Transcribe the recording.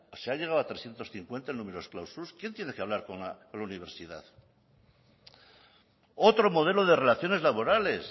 se ha llegado a trescientos cincuenta en numerus clausus quién tiene que hablar con la universidad otro modelo de relaciones laborales